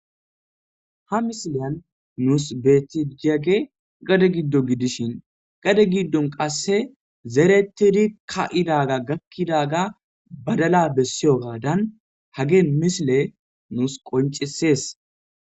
ha misileyan nuus beetti diage gade giddo Gidishin gade giddon qasse zerettidi ka7idaga gakkidaga badala bessiyo gaadan hagee misile nuus qoncisees